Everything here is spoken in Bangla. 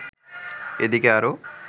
এদিকে আরো